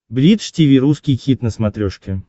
бридж тиви русский хит на смотрешке